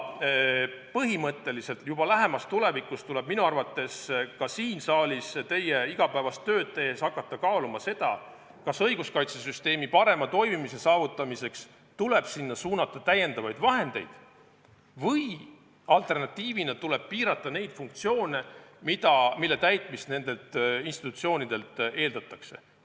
Põhimõtteliselt tuleb juba lähemas tulevikus ka siin saalis teie igapäevast tööd tehes hakata kaaluma seda, kas õiguskaitsesüsteemi parema toimimise saavutamiseks tuleb sinna suunata lisavahendeid või alternatiivina piirata neid funktsioone, mille täitmist nendelt institutsioonidelt eeldatakse.